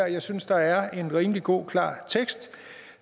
jeg synes der er en rimelig god klar tekst